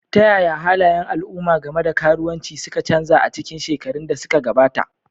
Ta yaya halayen al'umma game da karuwanci suka canza a cikin shekarun da suka gabata?